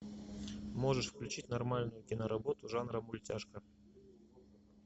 можешь включить нормальную киноработу жанра мультяшка